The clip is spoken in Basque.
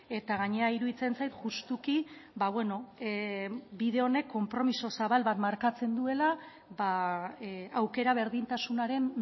eta gainera iruditzen zait justuki bide honek konpromiso zabal bat markatzen duela aukera berdintasunaren